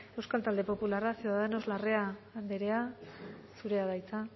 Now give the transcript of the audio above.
euskal talde popularra ciudadanos larrea andrea zurea da hitza